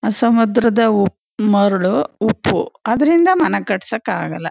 ಆ ಸಮುದ್ರದ ಮರಳು ಉಪ್ಪು ಅದ್ರಿಂದ ಮನೆ ಕಟ್ಟಿಸೋಕ ಆಗಲ್ಲ.